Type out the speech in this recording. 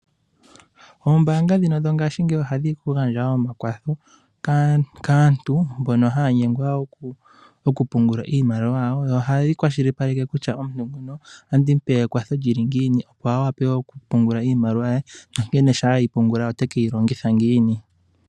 Oombaanga dhino dho ngaashingeyi ohadhi gandja omakwatho kaantu mbono haya nyengwa okupungula iimaliwa yawo, oyo hayi kwashilipaleke kutya omuntu nguno otandi mupe ekwatho lyili ngiini opo awape okupungula iimaliwa ye nankene sha eyi pungula otekeyi longitha ngiini.